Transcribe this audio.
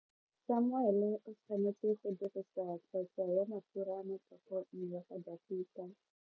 Samuele o tshwanetse go dirisa tlotso ya mafura motlhogong ya Dafita.